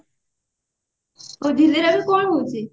କଣ ଝିଲିର ଏବେ କଣ ହଉଛି?